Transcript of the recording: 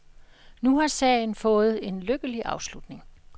Nu har sagen fået en lykkelig afslutning.